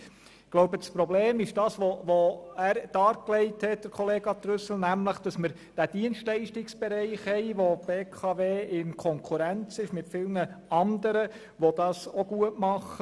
Ich glaube, das Problem ist – wie es Grossrat Trüssel dargelegt hat –, dass wir den Dienstleistungsbereich haben, in dem die BKW in Konkurrenz mit vielen anderen Anbietern steht, die das auch gut machen.